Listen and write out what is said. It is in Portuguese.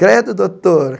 Credo, doutor.